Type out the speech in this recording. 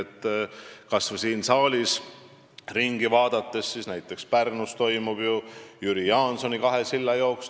Kui näiteks kas või siin saalis ringi vaadata, siis Pärnus toimub ju Jüri Jaansoni kahe silla jooks.